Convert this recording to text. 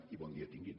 i bon dia tinguin